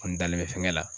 N dalen bɛ fɛngɛ la